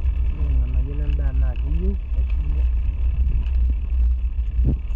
ore ilganayo lendaa naa keyieu neshumi aitobiraki